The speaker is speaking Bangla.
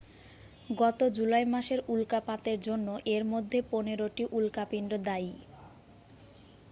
গত জুলাই মাসের উল্কাপাতের জন্য এর মধ্যে পনেরোটি উল্কাপিন্ড দায়ী